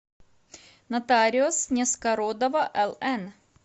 нотариус нескородова лн